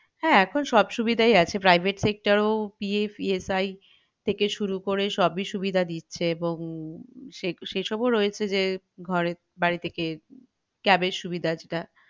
হ্যাঁ এখন সব সুবিধাই আছে private sector এও PFESI থেকে শুরু করে সবই সুবিধা দিচ্ছে এবং সে~সেসব ও রয়েছে যে ঘরে বাড়ি থেকে cab এর সুবিধা টা